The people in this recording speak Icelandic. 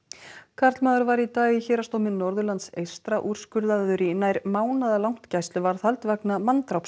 karlmaður var í dag í Héraðsdómi Norðurlands eystra úrskurðaður í nær mánaðarlangt gæsluvarðhald vegna